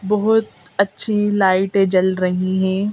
बहुत अच्छी लाइटें जल रही हैं।